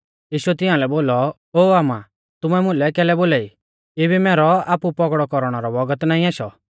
यीशुऐ तिंआलै बोलौ ओ आमा तुमै मुलै कैलै बोलाई इबी मैरौ आपु पौगड़ौ कौरणै रौ बौगत नाईं आशौ